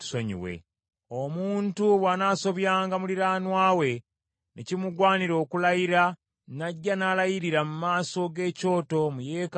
“Omuntu bw’anaasobyanga muliraanwa we, ne kimugwanira okulayira, n’ajja n’alayirira mu maaso g’ekyoto mu yeekaalu eno,